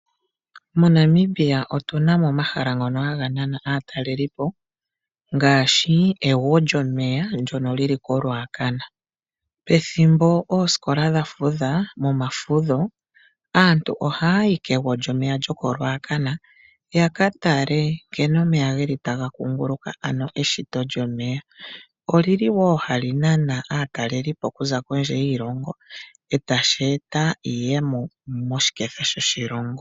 MoNamibia otu na mo omahala ngono haga nana aatalelipo ngaashi egwo lyomeya ndono lyi li koRuacana. Momafudho aantu ohaa yi kegwo lyomeya olyo tuu ndyoka, ya ka tale nkene omeya taga kuunguluka paushitwe. Oha li nana aatalelipo oku za kondje yiilongo na ohashi eta iiyemo moshiketha shoshilongo.